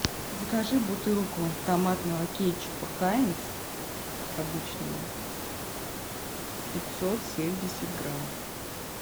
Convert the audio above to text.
закажи бутылку томатного кетчупа хайнц обычного пятьсот семьдесят грамм